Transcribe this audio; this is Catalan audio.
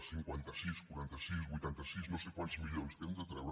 cinquanta sis quaranta sis vuitanta sis no sé quants milions que hem de treure